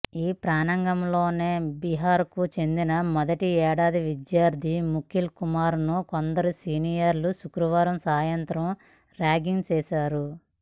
ఈ ప్రాంగణంలోనే బీహార్కు చెందిన మొదటి ఏడాది విద్యార్థి ముకుల్ కుమార్ను కొందరు సీనియర్ల శుక్రవారం సాయంత్రం ర్యాగింగ్ చేశారు